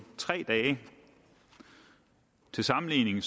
tre dage til sammenligning